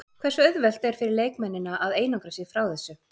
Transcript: Hversu auðvelt er fyrir leikmennina að einangra sig frá þessu?